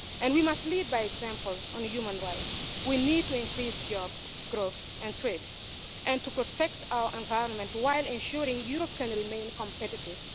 And we must lead by example on human rights. We need to increase jobs, growth and trade and to protect our environment while ensuring Europe can remain competitive.